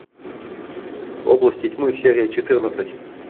области тьмы серия четырнадцать